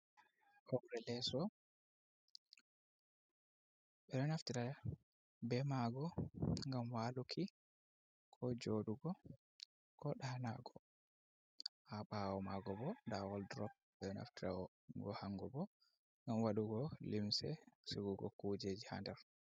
Hoore leeso ɓe ɗo naftira be ma ngo ngam waaluki ko jooɗugo ko daanugo, ha ɓawo ma ngo bo nda waldurop ɓe ɗo naftira go hango bo ngam waɗugo limse sigugo kujeji ha nder.